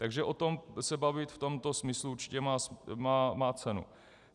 Takže o tom se bavit v tomto smyslu určitě má cenu.